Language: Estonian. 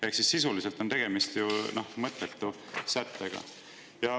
Ehk sisuliselt on ju tegemist mõttetu sättega.